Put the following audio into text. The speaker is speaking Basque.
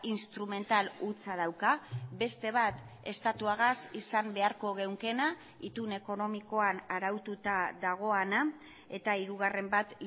instrumental hutsa dauka beste bat estatuagaz izan beharko genukeena itun ekonomikoan araututa dagoena eta hirugarren bat